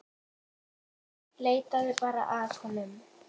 Leitaðu bara að honum.